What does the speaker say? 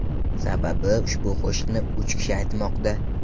Sababi ushbu qo‘shiqni uch kishi aytmoqda.